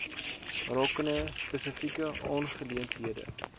rakende spesifieke aangeleenthede